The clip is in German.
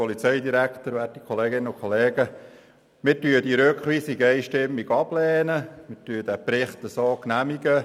Wir lehnen diese Rückweisung einstimmig ab und nehmen den Bericht zur Kenntnis.